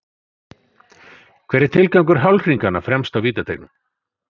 Hver er tilgangur hálfhringanna fremst á vítateigunum?